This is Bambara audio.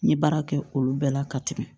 N ye baara kɛ olu bɛɛ la ka tɛmɛ